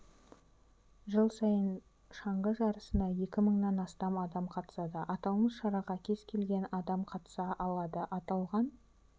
жыл сайын шаңғы жарысына екі мыңнан астам адам қатысады аталмыш шараға кез-келген адам қатыса алады аталған